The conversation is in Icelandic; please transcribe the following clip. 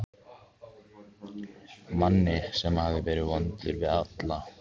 Manni sem hafði verið vondur við alla.